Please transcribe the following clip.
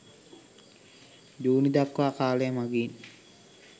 ජුනිදක්වා කාලය මගින්